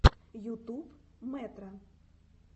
ютуб мэтро